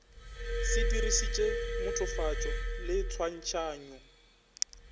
se dirišitše mothofatšo le tshwantšhanyo